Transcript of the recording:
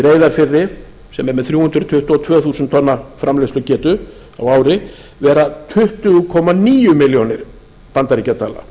reyðarfirði sem er með þrjú hundruð tuttugu og tvö þúsund tonna framleiðslugetu á ári vera tuttugu komma níu milljónir bandaríkjadala